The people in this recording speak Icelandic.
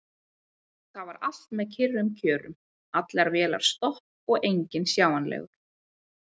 Þar var allt með kyrrum kjörum: allar vélar stopp og enginn sjáanlegur.